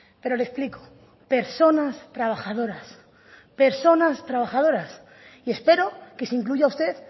pero le explico personas trabajadoras personas trabajadoras y espero que se incluya usted